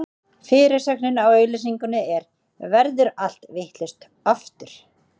Fyrirsögnin á auglýsingunni er: Verður allt vitlaust, aftur?